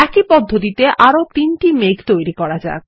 একই পদ্ধতিতে আরো একটি মেঘ তৈরি করা যাক